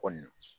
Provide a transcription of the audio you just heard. Kɔni